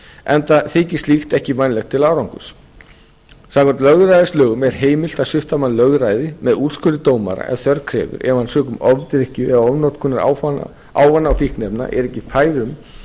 enda þykir slíkt ekki vænlegt til árangurs samkvæmt lögræðislögum er heimilt að svipta mann lögræði með úrskurði dómara ef þörf krefur ef hann sökum ofdrykkju eða ofnotkunar ávana og fíkniefna er ekki fær um